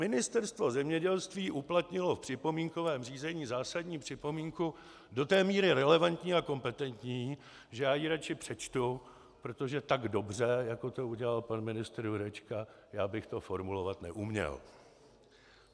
Ministerstvo zemědělství uplatnilo v připomínkovém řízení zásadní připomínku do té míry relevantní a kompetentní, že já ji radši přečtu, protože tak dobře, jako to udělal pan ministr Jurečka, já bych to formulovat neuměl.